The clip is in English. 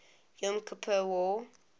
yom kippur war